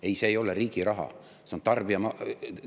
Ei, see ei ole riigi raha, see on tarbija raha.